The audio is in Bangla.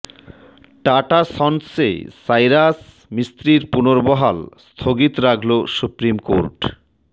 টাটা সন্সে সাইরাস মিস্ত্রির পুনর্বহাল স্থগিত রাখল সুপ্রিম কোর্ট